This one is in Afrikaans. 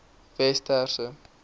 westerse